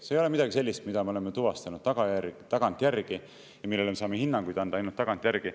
See ei ole midagi sellist, mida me oleme tuvastanud tagantjärgi ja millele me saame hinnanguid anda ainult tagantjärgi.